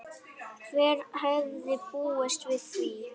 Hver hefði búist við því?